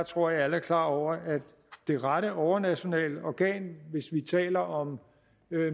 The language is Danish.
tror alle er klar over at det rette overnationale organ hvis vi taler om